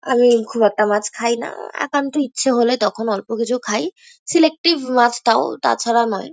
আমি খুব একটা মাছ খাই না। একান্ত ইচ্ছে হলে তখন অল্প কিছু খাই। সিলেক্টিভ মাছ তাও তাছাড়া নয়।